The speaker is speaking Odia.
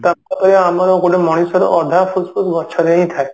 ଆମର ଗୋଟେ ମଣିଷର ଅଧା ଫୁସଫୁସ ଗଛରେ ହିଁ ଥାଏ